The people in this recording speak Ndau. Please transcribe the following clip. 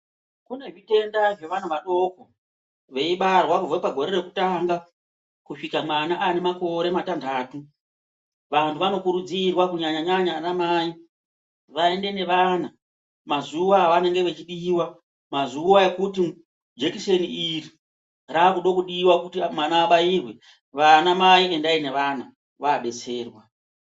Kune zvitenda zvevanhu vadoko veibarwa kubva pagore rekutanga kusvika mwana ane makore matanhatu vantu vanokurudzirwa kunyanyanyanya ana Mai vaende nevana mazuwa avanenge vechidiwa mazuwa ekuti jekiseni iri rakude kudiwa kuti mwana abayirwe vana Mai endai nevana vaabetserwa